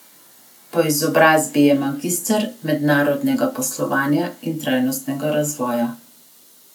Po izobrazbi je magister mednarodnega poslovanja in trajnostnega razvoja.